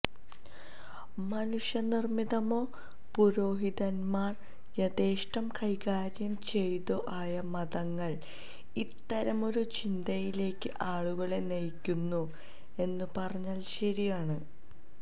മനുഷ്യനിര്മിതമോ പുരോഹിതന്മാര് യഥേഷ്ടം കൈകാര്യം ചെയ്തതോ ആയ മതങ്ങള് ഇത്തരമൊരു ചിന്തയിലേക്ക് ആളുകളെ നയിക്കുന്നു എന്നു പറഞ്ഞാല് ശരിയാണ്